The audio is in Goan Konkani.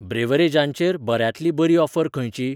ब्रिव्हरेजांचेर बऱ्यांतली बरी ऑफर खंयची?